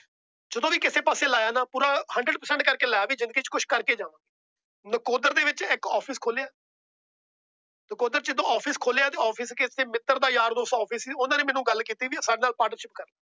ਜਦੋ ਵੀ ਕਿਸੇ ਪਾਸੇ ਲਾਇਆ ਨਾ ਪੂਰਾ Hundred Percent ਕਰਕੇ ਲਾਇਆ। ਵੀ ਜਿੰਦਗੀ ਚ ਕੁਛ ਕਰਕੇ ਜਾਉ। ਨਕੋਦਰ ਦੇ ਵਿੱਚ ਇੱਕ Office ਖੋਲਿਆ। ਨਕੋਦਰ ਜਦੋ Office ਖੋਲਿਆ। Office ਕਿਸੇ ਮਿੱਤਰ ਯਾਰ ਦੋਸਤ ਦਾ ਸੀ ਉਹਨਾਂ ਨੇ ਮੇਰੇ ਨਾਲ ਗੱਲ ਕੀਤੀ ਵੀ Partner Ship ਕਰ ਲੈ।